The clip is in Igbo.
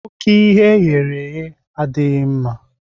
Oke ihe eghere eghe adịghị mma